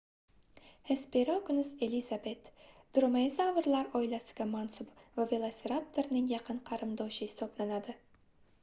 hesperonikus elizabet dromaeozavrlar oilasiga mansub va velosiraptorning yaqin qarindoshi hisoblanadi